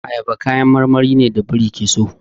Ayaba kayan marmari ne da biri ke so.